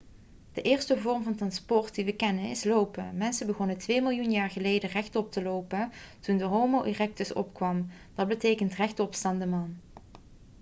de eerste vorm van transport die we kennen is lopen. mensen begonnen twee miljoen jaar geleden rechtop te lopen toen de homo erectus opkwam dat betekent rechtopstaande man